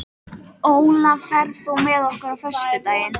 Olaf, ferð þú með okkur á föstudaginn?